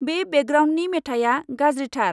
बै बेकग्राउन्दनि मेथाया गाज्रिथार।